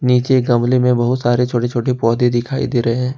नीचे गमले में बहुत सारे छोटे छोटे पौधे दिखाई दे रहे है।